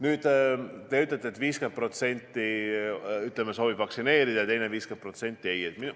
Nüüd, te ütlete, et 50% soovib vaktsineerida ja teine 50% ei soovi.